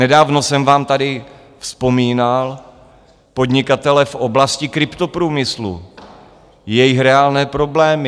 Nedávno jsem vám tady vzpomínal podnikatele v oblasti kryptoprůmyslu, jejich reálné problémy.